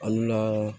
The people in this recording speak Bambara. Al'u la